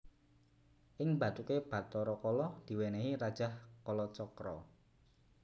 Ing bathuké Bathara Kala diwènèhi Rajah Kalacakra